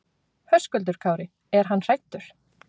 Höskuldur Kári: Er hann hræddur?